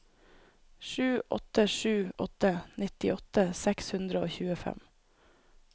sju åtte sju åtte nittiåtte seks hundre og tjuefem